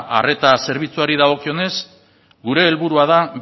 arreta zerbitzuari dagokionez gure helburua da